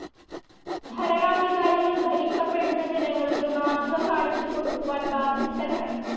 ഭരണാധികാരികൾ ഭരിക്കപ്പെടുന്ന ജനങ്ങൾക്ക് മാതൃകകാണിച്ചുകൊടുക്കുവാൻ ബാധ്യസ്ഥരാണ്.